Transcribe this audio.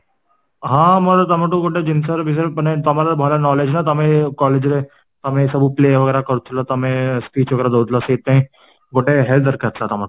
ହଁ ମୋର ତମଠୁ ଗୋଟେ ଜିନିଷ ବିଷୟରେ, ମାନେ ତମର ଭଲ knowledge ନା ତମେ college ରେ ତମେ ସବୁ play କରୁଥିଲଲ ତମେ speech ଦଉଥିଲା ସେଥିପାଇଁ ଗୋଟେ help ଦରକାର ଥିଲା ତମଠୁ